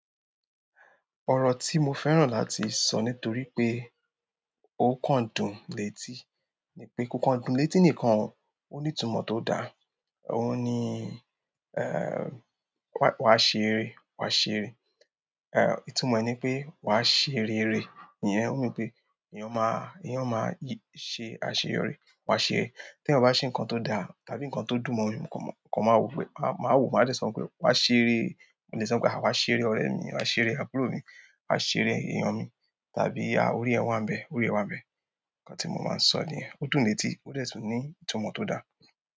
Ọrọ ti mo fẹ́ràn láti sọ nítorí pé ó kan dùn létí ni pé, kokan dùn létí nìkan ó ní ìtumọ̀ tó da. Òun ni, eh, "wa ṣeré, wa ṣeré", eh, ìtumọ̀ ni pé wa ṣe rere. Ìyẹn mean pé, èèyàn máa, èèyàn máa yí-- ṣe àṣeyọrí, wa ṣeré. Tí eyan bá ṣe nǹkan tó dá, tàbí nǹkan tó dùn mọ́ eyan, kan máa wò pé, máa wò ó máa dẹ sọ pé wa ṣeré. Ó lè sọ pé, à wa ṣeré ọ̀rẹ́ mi, wa ṣeré àbúrò mi, wa ṣeré èèyàn mi, tàbí à orí ẹ wá ń bẹ, orí ẹ wá ń bẹ. Ǹkan tí mo máa ń sọ niyẹn, ó dùn létí, ó dẹ tun ní ìtumọ̀ tó da.